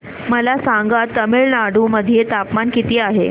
मला सांगा तमिळनाडू मध्ये तापमान किती आहे